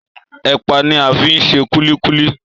Èpà ni a fi ń ṣe kúlíkúlí